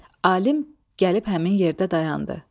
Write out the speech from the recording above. Alim gəlib həmin yerdə dayandı.